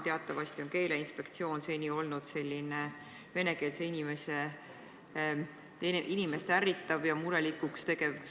Teatavasti on Keeleinspektsioon seni olnud selline venekeelset inimest ärritav ja murelikuks tegev asutus.